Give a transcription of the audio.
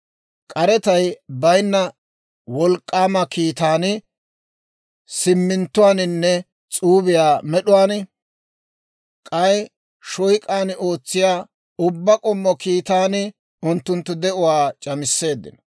K'arettay baynna wolk'k'aama kiitaan, siminttuwaaninne s'uubiyaa med'uwaan, k'ay shooyk'aan ootsiyaa ubbaa k'ommo kiitaan, unttunttu de'uwaa c'amisseeddino.